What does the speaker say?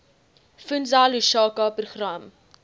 fundza lushaka program